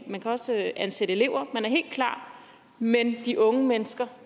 man kan også ansætte elever man er helt klar men de unge mennesker